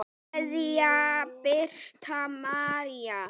Kveðja, Birta María.